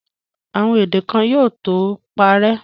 Àwọn èdè kan yóò tó parẹ́.